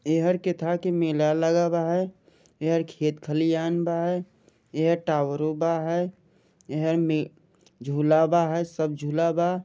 यहर के था की मेला लगा बा है यहर खेत खलियान बा है यहर टावरों बा है यहर में झूला बा है सब झूला बा।